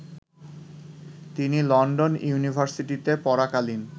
তিনি লন্ডন ইউনিভার্সিটিতে পড়াকালীন